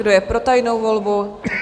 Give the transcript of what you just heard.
Kdo je pro tajnou volbu?